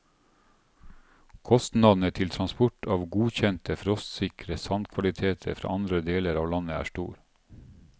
Kostnadene til transport av godkjente frostsikre sandkvaliteter fra andre deler av landet, er store.